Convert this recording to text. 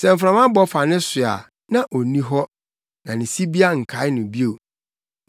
sɛ mframa bɔ fa ne so a, na onni hɔ, na ne sibea nkae no bio.